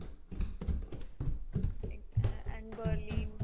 ਇੱਕ and berlin